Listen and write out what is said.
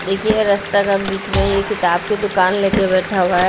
देखिए रास्ता का बीच में ये किताब की दुकान ले के बैठा हुआ है।